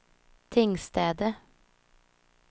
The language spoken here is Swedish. Tingstäde